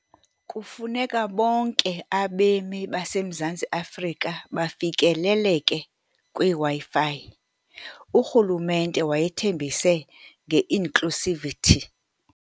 Kufuneka bonke abemi baseMzantsi Afrika bafikeleleke kwiWi-Fi, urhulumente wayethembise nge-inclusivity.